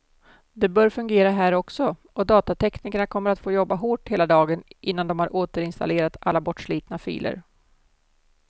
Det bör fungera här också, och datateknikerna kommer att få jobba hårt hela dagen innan de har återinstallerat alla bortslitna filer.